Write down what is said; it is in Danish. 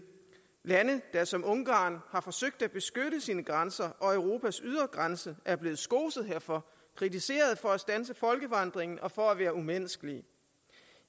lande der som ungarn har forsøgt at beskytte sine grænser og europas ydre grænse er blevet skoset herfor kritiseret for at standse folkevandringen og for at være umenneskelige